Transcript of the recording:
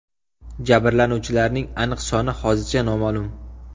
Jabrlanuvchilarning aniq soni hozircha noma’lum.